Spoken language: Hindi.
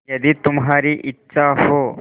यदि तुम्हारी इच्छा हो